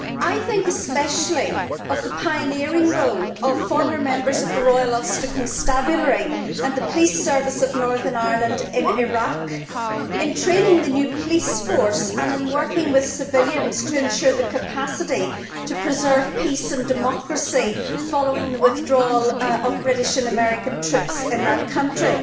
I think especially of the pioneering role of former members of the Royal Ulster Constabulary and the Police Service of Northern Ireland in Iraq in training the new police force and in working with civilians to ensure the capacity to preserve peace and democracy following the withdrawal of British and American troops in that country.